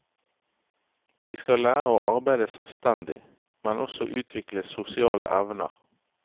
De skal lære å arbeide selvstendig, men også utvikle sosiale evner.